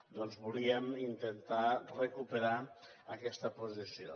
doncs volíem intentar recuperar aquesta posició